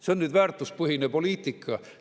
See on nüüd väärtuspõhine poliitika.